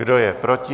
Kdo je proti?